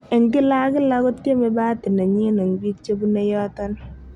"En kila ak kila, kotieme bahati nenyin en bik chebune yoton.''